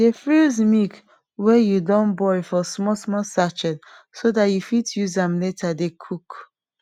dey freeze milk wey you don boil for small small sachet so dat you fit use am later dey cook